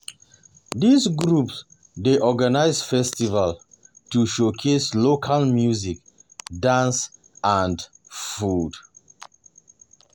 These groups dey organize festivals to showcase local music, dance, and food.